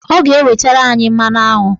Ọ ga-ewetara anyị mmanụaṅụ.